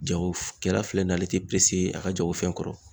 Jagokɛla filɛ nin ye, ale te a ka jagofɛn kɔrɔ.